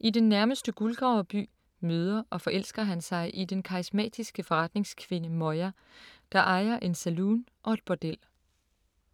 I den nærmeste guldgraverby møder og forelsker han sig i den karismatiske forretningskvinde Moya, der ejer en saloon og et bordel.